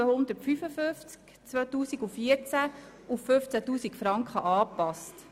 Ärztliche Weiterbildung sichern» auf 15 000 Franken angepasst.